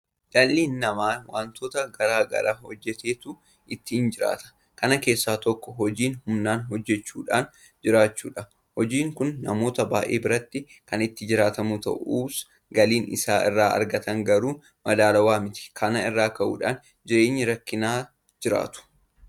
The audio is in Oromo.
Dhalli namaa waantota garaa garaa hojjeteetu ittiin jiraata. kana keessaa tokko hojii humnaa hojjechuudhaan jiraachuudha. hojiin kun namoota baay'ee biratti kan ittiin jiraatamu ta'us galiin isaan irraa argatan garuu madaalawaa miti. Kana irraa ka'uudhaan jireenya rakkinaa jiraatu.